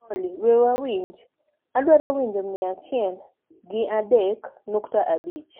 olly we wawinj wgrr adwaro winjo mia achiel gi adek nukta abich